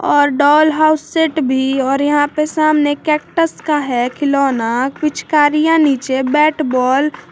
और doll house set भी और यहां पे सामने कैक्टस का है खिलौना पिचकारियां नीचे बैट बॉल ।